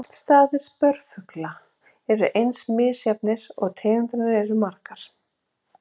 Náttstaðir spörfugla eru eins misjafnir og tegundirnar eru margar.